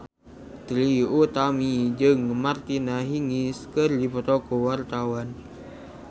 Trie Utami jeung Martina Hingis keur dipoto ku wartawan